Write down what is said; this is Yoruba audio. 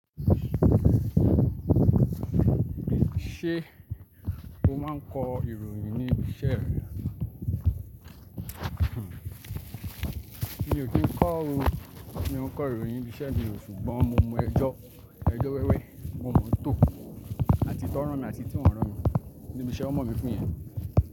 Ṣé o máa ń kọ ìròyìn ní ibi iṣẹ́ rẹ? Mi ò kí ń kọ́ o, mi ò kọ ìròyìn ní ibi iṣẹ́ mi o ṣùgbọ́n mo mọ ẹjọ́, ẹjọ́ wẹ́wẹ́ mo mọ̀ tó àti tí wọ́n ràn mí àti tí wọn ń ràn mí níbi iṣẹ́ ọmọ mi pín yẹn.